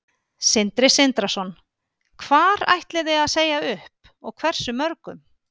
Sindri Sindrason: Hvar ætliði að segja upp og hversu mörgum?